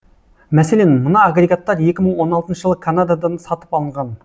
мәселен мына агрегаттар екі мың он алтыншы жылы канададан сатып алынған